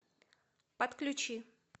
подключи